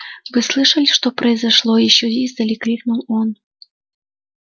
вы слышали что произошло ещё издали крикнул он